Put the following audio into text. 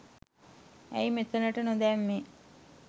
ඇයි මෙතනට නොදැම්මෙ